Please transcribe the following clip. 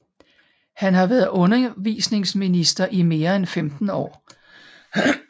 Han har været undervisningsminister i mere end 15 år